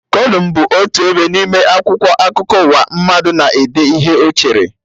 Kolum bụ otu ebe n'ime akwụkwọ akụkọ ụwa, mmadụ na-ede ihe Ọ chere